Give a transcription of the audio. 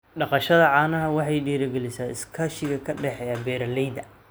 Dhaqashada caanaha waxay dhiirigelisaa iskaashiga ka dhexeeya beeralayda.